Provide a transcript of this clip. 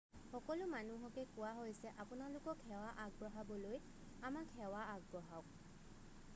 সকলো মানুহকে কোৱা হৈছে আপোনালোকক সেৱা আগবঢ়াবলৈ আমাক সেৱা আগবঢ়াওক